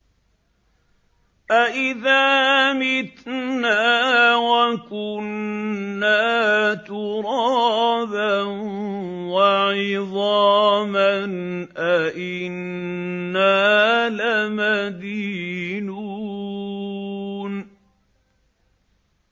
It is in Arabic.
أَإِذَا مِتْنَا وَكُنَّا تُرَابًا وَعِظَامًا أَإِنَّا لَمَدِينُونَ